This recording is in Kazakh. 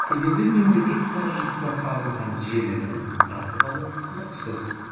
себебі мемлекет қаржысына салынған желіні сатып алу құлықсыз